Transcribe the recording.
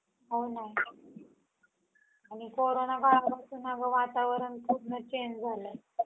हां का.